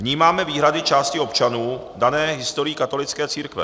Vnímáme výhrady části občanů dané historií katolické církve.